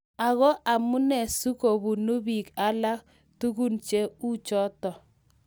Ako amunee si kobune biik alake tugun che uchoto ?